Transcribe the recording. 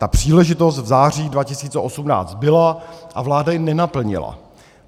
Ta příležitost v září 2018 byla a vláda ji nenaplnila.